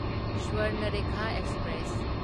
Swarnarekha express